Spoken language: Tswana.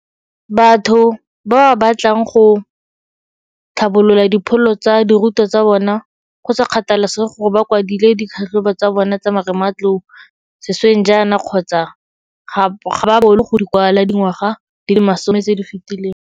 Batho ba ba batlang go tlhabolola dipholo tsa dirutwa tsa bona, go sa kgathalesege gore ba kwadile ditlhatlhobo tsa bona tsa marematlou sešweng jaana kgotsa ga ba boolo go di kwala dingwaga di le masome tse di fetileng.